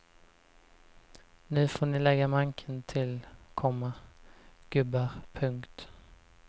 Nu får ni lägga manken till, komma gubbar. punkt